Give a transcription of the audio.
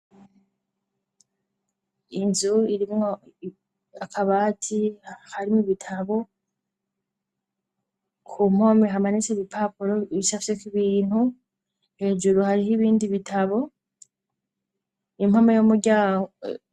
Inzu irimwo akabati harimo ibitabo ku mpomi hamanese ibipapuro ibishafyeko ibintu hejuru hariho ibindi bitabo impoma y'umuryango.